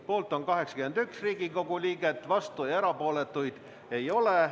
Poolt on 81 Riigikogu liiget, vastuolijaid ja erapooletuid ei ole.